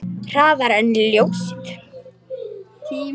Hraðar en ljósið.